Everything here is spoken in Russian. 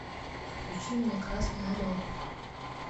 включи мне красный орел